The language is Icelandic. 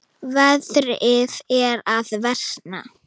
Veðrið er að versna.